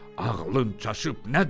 Ağlın çaşıb nədir?